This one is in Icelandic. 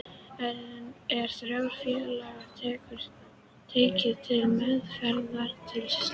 Er þá félagið tekið til meðferðar til slita.